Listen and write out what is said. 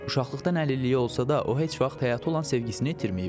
Uşaqlıqdan əlilliyi olsa da, o heç vaxt həyata olan sevgisini itirməyib.